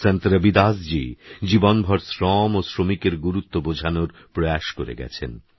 সন্তরবিদাসজীজীবনভরশ্রমওশ্রমিকেরগুরুত্ববোঝানোরপ্রয়াসকরেগেছেন